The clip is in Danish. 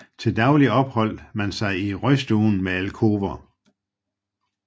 Til daglig opholdt man sig i røgstuen med alkover